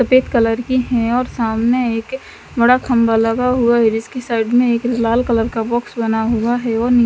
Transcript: सफेद कलर की है और सामने एक बड़ा खंभा लगा हुआ है जिसके साइड में एक लाल कलर का बॉक्स बना हुआ है और नि --